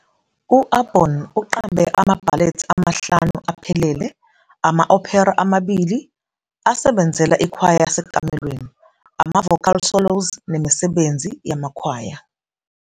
U-Aborn uqambe amabhalethi amahlanu aphelele, ama-opera amabili, asebenzela ikwaya yasekamelweni, ama-vocal solos nemisebenzi yamakhwaya.